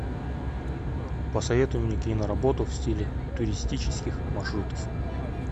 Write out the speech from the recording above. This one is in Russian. посоветуй мне киноработу в стиле туристических маршрутов